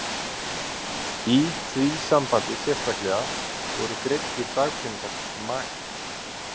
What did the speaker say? Í því sambandi sérstaklega voru greiddir dagpeningar maka?